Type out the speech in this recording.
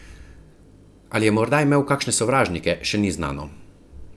Ali je morda imel kakšne sovražnike, še ni znano.